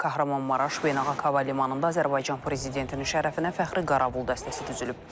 Qəhrəman Maraş beynəlxalq hava limanında Azərbaycan prezidentinin şərəfinə fəxri qaravul dəstəsi düzülüb.